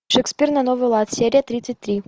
шекспир на новый лад серия тридцать три